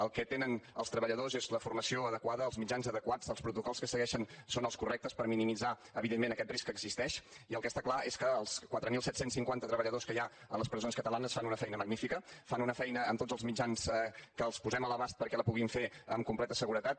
el que tenen els treballadors és la formació adequada els mitjans adequats els protocols que segueixen són els correctes per minimitzar evidentment aquest risc que existeix i el que està clar és que els quatre mil set cents i cinquanta treballadors que hi ha a les presons catalanes fan una feina magnífica fan una feina amb tots els mitjans que els posem a l’abast perquè la puguin fer en completa seguretat